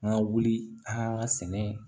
An ka wuli an ka sɛnɛ